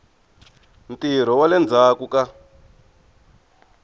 ntirho wa le ndzhaku ka